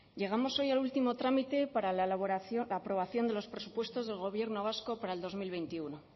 llegamos hoy al último trámite para la aprobación de los presupuestos del gobierno vasco para el dos mil veintiuno